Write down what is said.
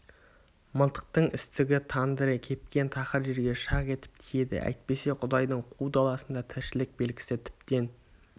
мылтықтың істігі тандыры кепкен тақыр жерге шақ етіп тиеді әйтпесе құдайдың қу даласында тіршілік белгісі тіптен